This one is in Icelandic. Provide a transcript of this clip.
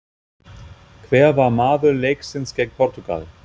Hver var maður leiksins gegn Portúgal?